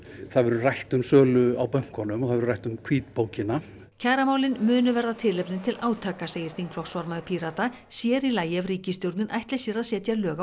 það verður rætt um sölu á bönkunum og það verður rætt um hvítbókina kjaramálin munu verða tilefni til átaka segir þingflokksformaður Pírata sér í lagi ef ríkisstjórnin ætli sér að setja lög á